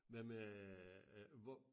Hvad med øh hvor